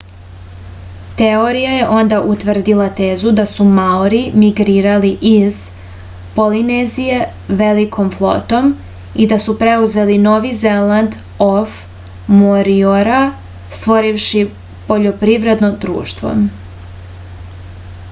teorija je onda utvrdila tezu da su maori migrirali iz polinezije velikom flotom i da su preuzeli novi zeland of moriora stvorivši poljoprivredno društvo